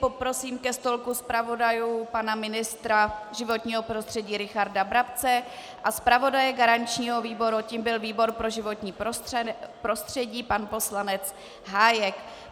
Poprosím ke stolku zpravodajů pana ministra životního prostředí Richarda Brabce a zpravodaje garančního výboru, tím byl výbor pro životní prostředí, pana poslance Hájka.